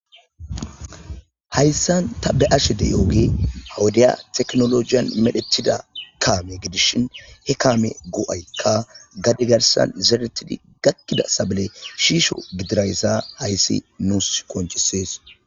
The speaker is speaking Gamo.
Hayssan tabe ashe deyooge hawudiya teknolojiyan medhetida kaame gidishin he kaame goo'ykka gadi garsan zeretidi gakkida sabale shiisho gidirayssa hayssi nuus konchisee.